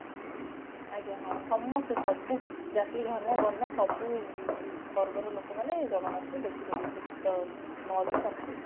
ଆଜ୍ଞା ହଁ ସମସ୍ତେ ସବୁ ଜାତି ଧର୍ମ ବର୍ଣ୍ଣ ସବୁ ବର୍ଗ ର ଲୋକ ମାନେ ଜଗନ୍ନାଥଙ୍କୁ ଦେଖା କରିବେ ନଅ ଦିନ ଦଶ ଦିନ